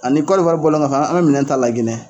Ani Cote d'Ivoire bɔlen kɔfɛ an bɛ minɛn ta Laginɛ